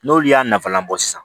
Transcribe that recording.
N'olu y'a nafalan bɔ sisan